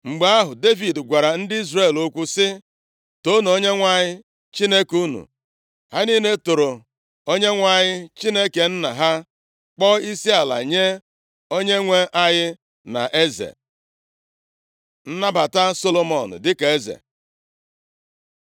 Mgbe ahụ, Devid gwara ndị Izrel okwu sị, “Toonu Onyenwe anyị Chineke unu!” Ha niile toro Onyenwe anyị Chineke nna ha, kpọọ isiala nye Onyenwe anyị na eze. Nnabata Solomọn dịka eze